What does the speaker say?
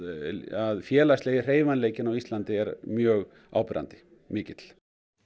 að félagslegi hreyfanleikinn á Íslandi er mjög áberandi mikill